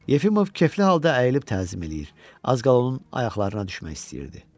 Yefimov kefli halda əyilib təzim eləyir, az qala onun ayaqlarına düşmək istəyirdi.